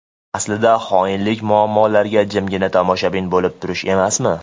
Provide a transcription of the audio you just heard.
Aslida xoinlik muammolarga jimgina tomoshabin bo‘lib turish emasmi?!